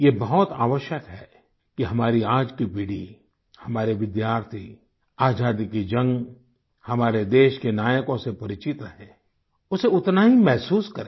यह बहुत आवश्यक है कि हमारी आज की पीढ़ी हमारे विद्यार्थी आज़ादी की जंग हमारे देश के नायकों से परिचित रहे उसे उतना ही महसूस करे